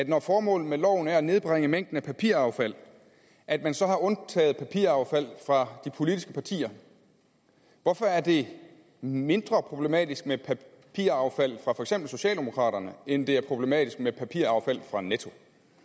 når formålet med loven er at nedbringe mængden af papiraffald at man så har undtaget papiraffald fra de politiske partier hvorfor er det mindre problematisk med papiraffald fra for eksempel socialdemokraterne end det er problematisk med papiraffald fra netto